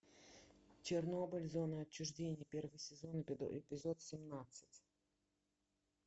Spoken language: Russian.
чернобыль зона отчуждения первый сезон эпизод семнадцать